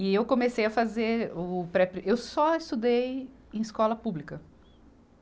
E eu comecei a fazer o pré-pri, eu só estudei em escola pública.